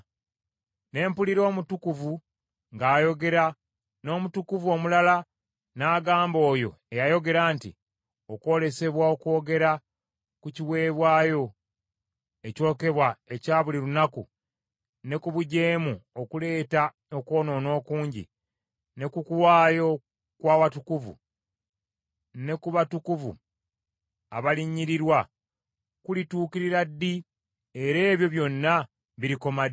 Ne mpulira omutukuvu ng’ayogera, n’omutukuvu omulala n’agamba oyo eyayogera nti, “Okwolesebwa okwogera ku kiweebwayo ekyokebwa ekya buli lunaku, ne ku bujeemu okuleeta okwonoona okungi, ne ku kuwaayo okwa watukuvu, ne ku batukuvu abalinnyirirwa, kulituukirira ddi era ebyo byonna birikoma ddi?”